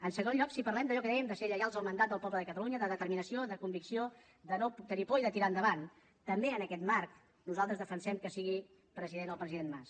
en segon lloc si parlem d’allò que dèiem de ser lleials al mandat del poble de catalunya de determinació de convicció de no tenir por i de tirar endavant també en aquest marc nosaltres defensem que sigui president el president mas